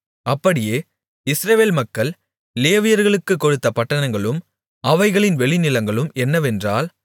அப்படியே இஸ்ரவேல் மக்கள் லேவியர்களுக்குக் கொடுத்த பட்டணங்களும் அவைகளின் வெளிநிலங்களும் என்னவென்றால்